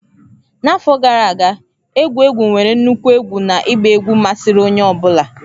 N'afọ gara aga, egwu egwu nwere nnukwu egwu na ịgba egwu masịrị onye ọ bụla.